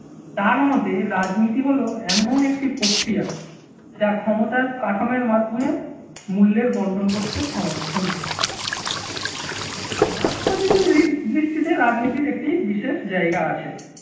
তার মতে রাজনীতি হলো এমন একটি প্রক্রিয়া যা ক্ষমতার কাঠামোর মাধ্যমে মূল্যের বন্টন করতে সমর্থন মার্কসবাদী দৃষ্টিতে রাজনীতির একটি বিশেষ জায়গা আছে।